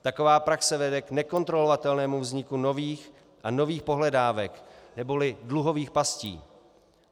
Taková praxe vede k nekontrolovatelnému vzniku nových a nových pohledávek neboli dluhových pastí.